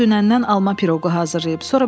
O dünəndən alma piroqu hazırlayıb.